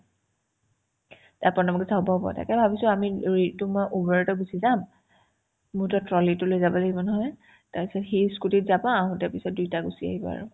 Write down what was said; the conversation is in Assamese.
তাত প্ৰণৱে কৈছে হ'ব হ'ব তাকে ভাবিছো আমি ৰুই তোমাৰ উবেৰ তে গুচি যাম মোৰ যে trolley তো লৈ যাব লাগিব নহয় তাই কৈছে সি স্কূতি ত যাব আহোতে পিছত দুয়োতাই গুচি আহিব আৰু